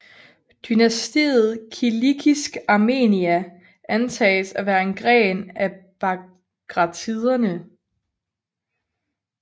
Dynastiet kilikisk Armenia antages at være en gren af bagratiderne